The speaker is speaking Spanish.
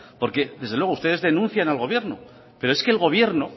porque desde luego ustedes denuncian al gobierno pero es que el gobierno